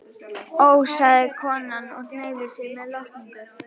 Ó, sagði konan og hneigði sig með lotningu.